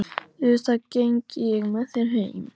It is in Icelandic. Auðvitað geng ég með þér heim